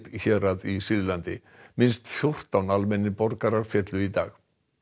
hérað í Sýrlandi minnst fjórtán almennir borgarar féllu í dag